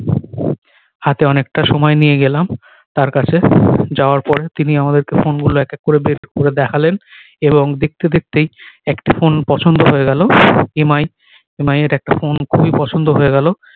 হাতে অনেকটা সময় নিয়ে গেলাম তার কাছে যাওয়ার পরে তিনি আমাদের কে ফোন গুলো এক এক করে বের করে দেখালেন এবং দেখতে দেখতেই একটা ফোন পছন্দ হয়ে গেলো এম আই এম আই এর একটা ফোন খুবই পছন্দ হয়ে গেলো